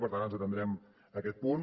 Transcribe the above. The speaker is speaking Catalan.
per tant ens atendrem en aquest punt